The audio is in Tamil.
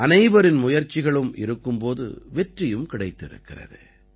அனைவரின் முயற்சிகளும் இருக்கும் போது வெற்றியும் கிடைத்திருக்கிறது